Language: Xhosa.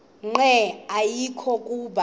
nqe ayekho kuba